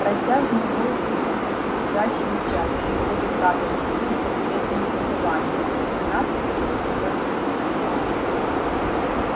протяжный вой слышался всё чаще и чаще издалека доносились ответные завывания тишина превратилась в сущий ад